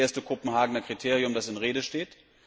Es ist das erste Kopenhagener Kriterium, das in Rede steht.